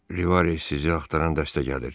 Rivare sizi axtaran dəstə gəlir.